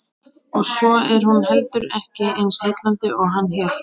Og svo er hún heldur ekki eins heillandi og hann hélt.